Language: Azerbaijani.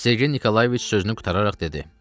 Sergey Nikolayeviç sözünü qurtararaq dedi: